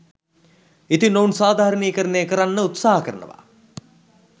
ඉතින් ඔවුන් සාධාරණීයකරණය කරන්න උත්සාහ කරනවා